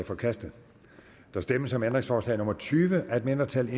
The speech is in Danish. forkastet der stemmes om ændringsforslag nummer tyve af et mindretal